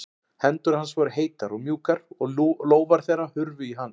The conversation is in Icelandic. Hendur hans voru heitar og mjúkar og lófar þeirra hurfu í hans.